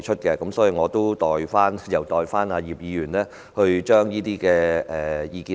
因此，我會代葉議員提出這些意見。